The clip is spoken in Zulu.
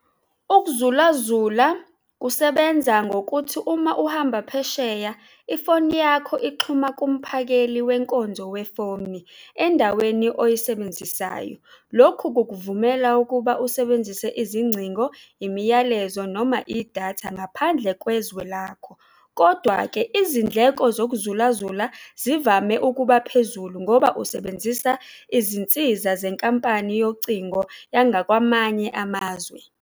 Ukuzulazula kusebenza ngokuthi uma uhamba phesheya ifoni yakho ixhuma kumphakeli kwenkonzo wefoni endaweni oyisebenzisayo. Lokhu kukuvumela ukuba usebenzise izingcingo, imiyalezo noma idatha ngaphandle kwezwe lakho. Kodwa-ke, izindleko zokuzulazula zivame ukuba phezulu ngoba usebenzisa izinsiza zenkampani yocingo yangakwamanye amazwe.